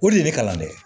O de ye ne kalan dɛ